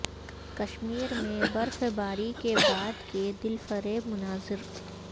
کشمیر میں برف باری کے بعد کے دلفریب مناظر